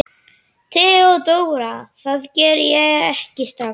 THEODÓRA: Það geri ég ekki strax.